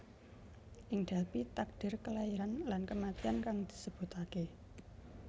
Ing Delphi takdir Kelairan lan Kematian kang disebutake